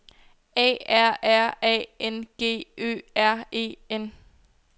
A R R A N G Ø R E N